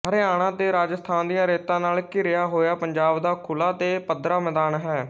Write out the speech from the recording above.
ਹਰਿਆਣਾ ਤੇ ਰਾਜਸਥਾਨ ਦੀਆਂ ਰੇਤਾਂ ਨਾਲ ਘਿਰਿਆ ਹੋਇਆ ਪੰਜਾਬ ਦਾ ਖੁਲਾ ਤੇ ਪੱਧਰਾ ਮੈਦਾਨ ਹੈ